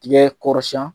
Tigɛ kɔrɔsiyɛn